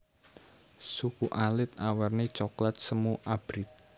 Suku alit awerni coklat semu abrit